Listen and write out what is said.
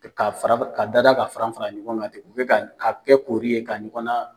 Ka fara ka dada ka fara fara ɲɔgɔn kan ten u ka ka kɛ k kori ye ka ɲɔgɔn na.